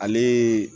Ale